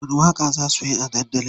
Wani waƙa za suyi a dandali?